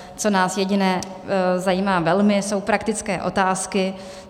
Co nás jediné zajímá velmi, jsou praktické otázky.